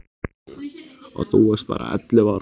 Og þú varst bara ellefu ára gömul.